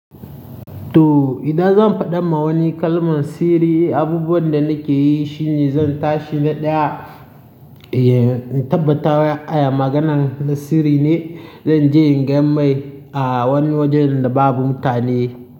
To, idan zan faɗa ma wani kalman sirri, abubuwan da nake yi shine zan tashi na ɗaya, tabbata aya maganan na sirri ne, zan je ingan mai a wani wajen da babu mutane.